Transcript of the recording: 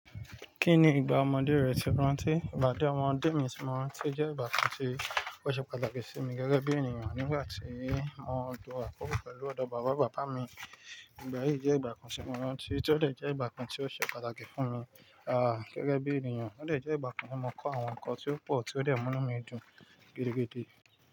Kí ni ìgbà ọmọdé rẹ ti o rántí? Ìgbà díẹ̀ ọmọdé mi ti mọ́ rántí jẹ́ ìgbà kan tí ó ṣe pàtàkì sí mi gẹ́gẹ́ bí ènìyàn nígbà tí mo ń lọ àkókò pẹ̀lú ọ̀dọ̀ bàbá bàbá mi. Ìgbà yí jẹ́ ìgbà kan tí mo rántí tí ó dè jẹ ìgbà kan tí ó ṣe pàtàkì fún mi, ah, gẹ́gẹ́ bí ènìyàn. Ó dè jẹ́ ìgbà kan tí mo kọ́ àwọn ǹkan tí ó pọ̀ tí ó dè múnú mí dùn gidigidi.